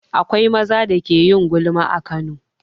Akwai maza da ke yin gulma a Kano.